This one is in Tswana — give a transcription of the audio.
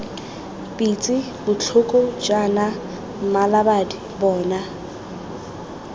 pitse botlhoko jaana mmalabadi bona